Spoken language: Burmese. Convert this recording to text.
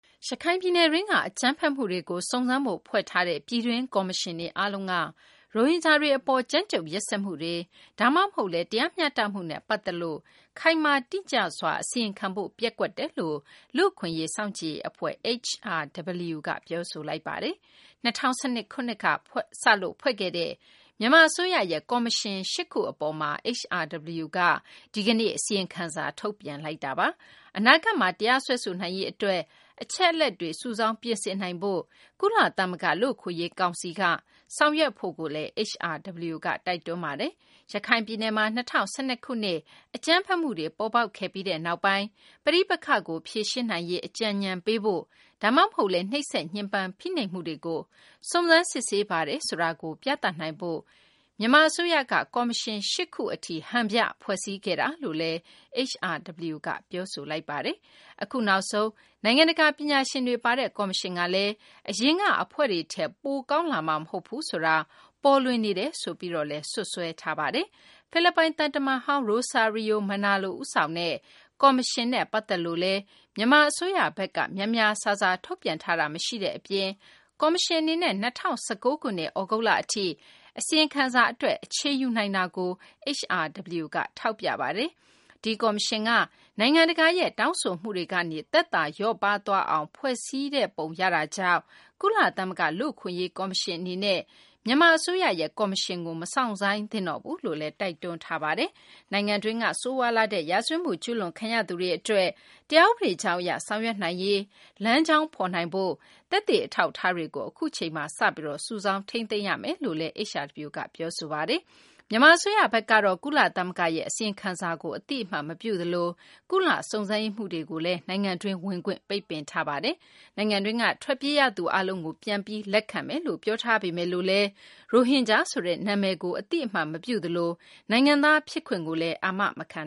ရခိုင်ပြည်နယ်တွင်းက အကြမ်းဖက်မှုတွေကို စုံစမ်းဖို့ ဖွဲ့ထားတဲ့ ပြည်တွင်း ကော်မရှင်တွေ အားလုံးက ရိုဟင်ဂျာတွေ အပေါ် ကြမ်းကြုတ်ရက်စက်မှုတွေ ဒါမှမဟုတ်လည်း တရားမျှတမှုနဲ့ ပတ်သက်ပြီး ခိုင်မာတိကျစွာ အစီရင်ခံဖို့ ပျက်ကွက်တယ်လို့ လူ့အခွင့်အရေး စောင့်ကြည့်ရေး အဖွဲ့ HRW က ပြောဆိုလိုက်ပါတယ်။ ၂၀၁၂ ခုနှစ်က စလို့ ဖွဲ့စည်းခဲ့တဲ့ မြန်မာ အစိုးရရဲ့ ကော်မရှင် ၈ ခု အပေါ် HRW က ဒီကနေ့ အစီရင်ခံစာ ထုတ်ပြန်လိုက်တာပါ။ အနာဂတ်မှာ တရားစွဲဆိုနိုင်ရေး အတွက် အချက်အလက်တွေ စုဆောင်း ပြင်ဆင်နိုင်ဖို့ ကုလသမဂ္ဂ လူ့အခွင့်အရေး ကောင်စီက အဖွဲ့တခု ဖွဲ့ဖို့လည်း HRW က တိုက်တွန်းလိုက်ပါတယ်။ ရခိုင်ပြည်နယ်မှာ ၂၀၁၂ ခုနှစ်က အကြမ်းဖက်မှုတွေ ပေါ်ပေါက်ခဲ့ပြီးနောက်ပိုင်း ပဋိပက္ခကို ဖြေရှင်းနိုင်ရေး အကြံညဏ်ပေးဖို့၊ ဒါမှမဟုတ်လည်း နှိပ်စက်ညှဉ်းပန်း ဖိနှိပ်မှုတွေကို စုံစမ်းစစ်ဆေးပါတယ်ဆိုတာကို ပြသနိုင်ဖို့မြန်မာ အစိုးရကကော်မရှင် ၈ ခု ကို ဟန်ပြ ဖွဲ့စည်းခဲ့တာလို့လည်း HRW က ပြောဆိုလိုက်ပါတယ်။ အခုနောက်ဆုံး နိုင်ငံတကာ ပညာရှင်တွေ ပါတဲ့ ကော်မရှင်ကလည်း အရင်က အဖွဲ့တွေထက် ပိုကောင်းလာမှာ မဟုတ်ဘူးဆိုတာ ပေါ်လွင်နေတယ်လို့ HRW က စွပ်စွဲပါတယ်။ ဖိလစ်ပိုင် သံတမန်ဟောင်း Rosario Manalo ဦးဆောင်တဲ့ ကော်မရှင်နဲ့ ပတ်သက်လို့လည်း မြန်မာ အစိုးရဘက်က များများစားစား ထုတ်ပြန်ထားတာ မရှိတဲ့ အပြင် ကော်မရှင် အနေနဲ့ ၂၀၁၉ ခုနှစ် သြဂုတ်လ အထိ အစီရင်ခံစာ အတွက် အချိန်ယူမှာကိုလည်း HRW က ထောက်ပြပါတယ်။ ဒီကော်မရှင်ကလည်း နိုင်ငံတကာရဲ့ တောင်းဆိုမှုတွေကနေ သက်သာ လျော့ပါးသွားအောင် ဖွဲ့စည်းပုံ ရတာကြောင့် ကုလသမဂ္ဂ လူ့အခွင့်အရေး ကော်မရှင် အနေနဲ့ မြန်မာ အစိုးရဖွဲ့စည်းတဲ့ ကော်မရှင်ကို မစောင့်ဆိုင်းသင့်ဘူးလို့လည်း HRW က တိုက်တွန်းပါတယ်။ မြန်မာနိုင်ငံတွင်းက ဆိုးရွားလှတဲ့ ရာဇဝတ်မှု ကျူးလွန်ခံရသူတွေ အတွက် တရားဥပဒေကြောင်းအရ ဆောင်ရွက်နိုင်ရေး လမ်းကြောင်းဖော်ပေးနိုင်ဖို့ သက်သေ အထောက်အထားတွေကို အခုချိန်မှာ စုဆောင်းထိန်းသိမ်းဖို့လည်း HRW က တိုက်တွန်းလိုက်တာ ဖြစ်ပါတယ်။ မြန်မာ အစိုးရဘက်ကတော့ ကုလသမဂ္ဂရဲ့ အစီရင်ခံစာကို အသိအမှတ်မပြုသလို ကုလ စုံစမ်းရေးမှူးတွေကိုလည်း နိုင်ငံတွင်း ဝင်ခွင့် ပိတ်ပင်ထားပါတယ်။ နိုင်ငံတွင်းက ထွက်ပြေးရသူ အားလုံးကို ပြန်လည် လက်ခံမယ်လို့ အစိုးရက ပြောထားပေမယ့် ရိုဟင်ဂျာဆိုတဲ့ အမည်ကို အသိအမှတ်မပြုသလို နိုင်ငံသား ဖြစ်ခွင့်ကိုလည်း အာမခံ